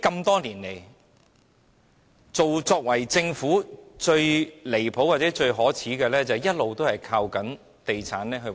多年來，政府最離譜或最可耻是一直依賴地產賺取收入。